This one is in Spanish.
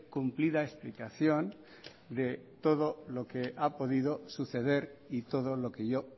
cumplida explicación de todo lo que ha podido suceder y todo lo que yo